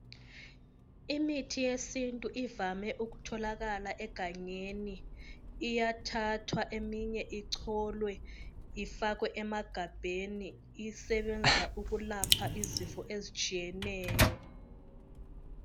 Imithi yesintu ivame ukutholakala egangeni. Iyathathwa eminye icholwe, ifakwe emagabheni. Isebenza ukwelapha izifo ezitshiyeneyo.